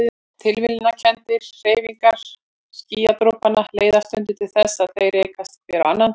Tilviljanakenndar hreyfingar skýjadropanna leiða stundum til þess að þeir rekast hver á annan.